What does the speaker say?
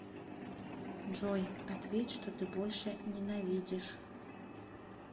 джой ответь что ты больше ненавидишь